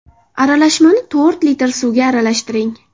Aralashmani to‘rt litr suvga aralashtiring.